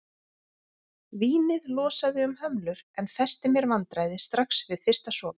Vínið losaði um hömlur en festi mér vandræði strax við fyrsta sopa.